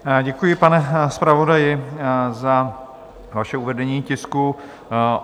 Děkuji, pane zpravodaji, za vaše uvedení tisku.